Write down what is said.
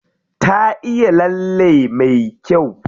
Ta iya lalle me kyau.